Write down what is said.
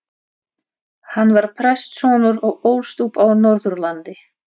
Hann var prestssonur og ólst upp á Norðurlandi.